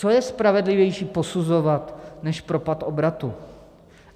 Co je spravedlivější posuzovat než propad obratu?